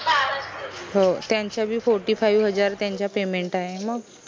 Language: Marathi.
हो त्यांचा बी Fortyfive हजार त्यांचा payment आहे मग